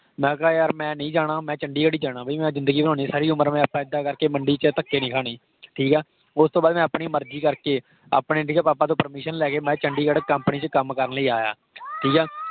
ਮੈਂ ਕਿਹਾ ਯਾਰ ਮੈ ਨਹੀਂ ਜਾਣਾ । ਮੈਂ ਚੰਡੀਗੜ੍ਹ ਹੀ ਜਾਣਾ। ਬਈ ਮੈਂ ਜ਼ਿੰਦਗੀ ਬਣਾਉਣੀ ਸਾਰੀ ਉਮਰ ਮੈਂ ਇੱਦਾਂ ਇੱਦਾਂ ਕਰ ਕੇ ਮੰਡੀ ਚ ਧੱਕੇ ਨਹੀ ਖਾਨੇ ਠੀਕ ਆ। ਓਸ ਤੋਂ ਬਾਅਦ ਮੈਂ ਆਪਣੀ ਮਰਜ਼ੀ ਕਰ ਕੇ ਆਪਣੇ ਠੀਕ ਹੈ ਆਪਣੇ papa ਤੋਂ permission ਲੈ ਕੇ ਚੰਡੀਗੜ੍ਹ company ਵਿਚ ਕੱਮ ਕਰਨ ਲਈ ਆਇਆ। ਠੀਕ ਆ